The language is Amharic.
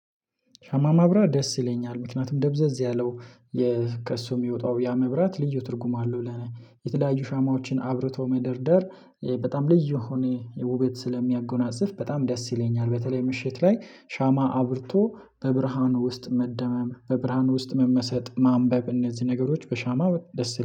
ሻማ ማብራት ደስ ይለኛል ምክንያቱም ደብዘዝ ያለው ከእሱ የሚወጣው ያ መብራት ልዩ ትርጉም አለው። ለኔ የተለያዩ ሻማዎችን አብርቶ መደርደር በጣም ልዩ የሆነ ውበት ስለሚያጎናጽፍ በጣም ደስ ይለኛል። በተለይ ምሽት ላይ ሻማ አብርቶ በብርሃን ውስጥ መደመም በብርሃን ውስጥ መመሰጥ ማንበብ እነዚህ ነገሮች በሻማ ደስ